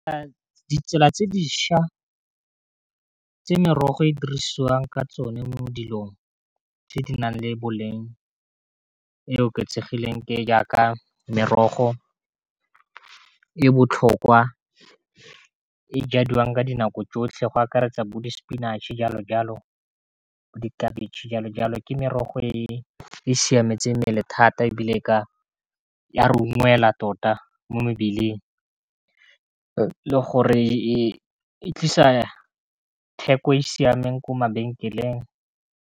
Ditsela tse dišwa tse merogo e dirisiwang ka tsone mo dilong tse di nang le boleng e oketsegileng ke jaaka merogo e botlhokwa e jadiwang ka dinako tsotlhe go akaretsa bo di-spinach-e jalo jalo, bo di khabetšhe jalo jalo ke merogo e siametse mmele thata ebile ya re ungwelwa tota mo mebeleng, e le gore e tlisa theko e siameng ko mabenkeleng.